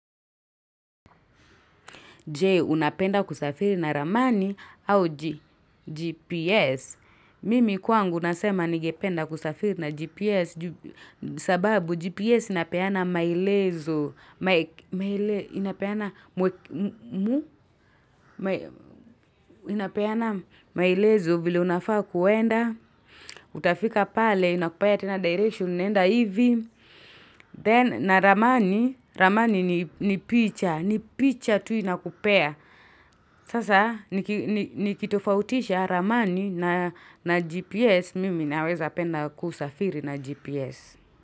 Jee, unapenda kusafiri na ramani au GPS. Mimi kwangu nasema ningependa kusafiri na GPS sababu GPS inapeana maelezo. Maelezo inapeana maelezo vile unafaa kuenda. Utafika pale inakupea tena direction unaenda hivi. Then na ramani, ramani ni picha. Ni picha tu inakupea. Sasa nikitofautisha ramani na gps mimi naweza penda kusafiri na gps.